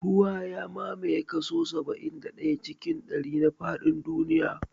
Ruwa ya mamaye kaso saba'in da ɗaya cikin ɗari na faɗin duniya